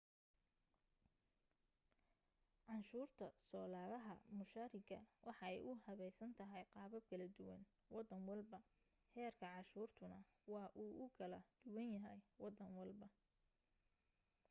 canshuurta soo lagaha mushaariga waxa ay u habeysan tahay qaabab kala duwan waddan walba heerka canshuurtuna waa uu kala duwan yahay wadan walba